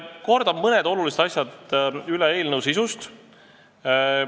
Kordan üle mõned olulised asjad eelnõu sisu kohta.